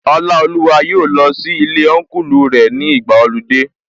Ọlaoluwa yóò lọ sí ilé Ọnkulu rẹ̀ ní ìgbàa ọludé